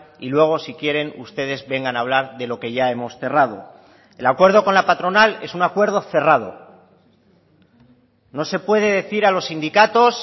y luego si quieren ustedes vengan a hablar de lo que ya hemos cerrado el acuerdo con la patronal es un acuerdo cerrado no se puede decir a los sindicatos